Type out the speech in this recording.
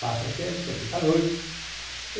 Passa uns tempos, você fica noivo.